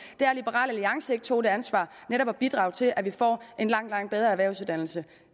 er at liberal alliance ikke tog det ansvar netop at bidrage til at vi får en langt langt bedre erhvervsuddannelse